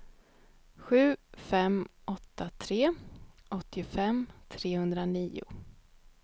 sju fem åtta tre åttiofem trehundranio